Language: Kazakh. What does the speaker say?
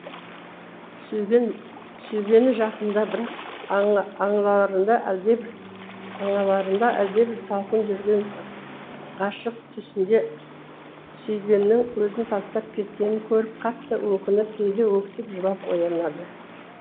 сүйгені жақында бірақ аңаларында әлдебір салқын жүрген ғашык түсінде сүйгенінің өзін тастап кеткенін көріп қатты өкініп кейде өксіп жылап оянады